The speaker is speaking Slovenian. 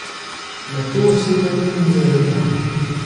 Nato sedem in zazeham.